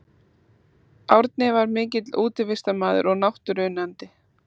Árni var mikill útivistarmaður og náttúruunnandi.